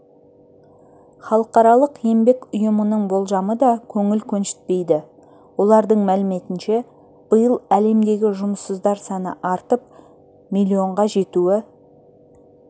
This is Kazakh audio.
халықаралық еңбек ұйымының болжамы да көңіл көншітпейді олардың мәліметінше биыл әлемдегі жұмыссыздар саны артып миллионға жетуі